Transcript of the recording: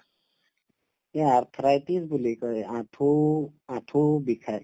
এই arthritis বুলি কই আঠু আঠু বিষায়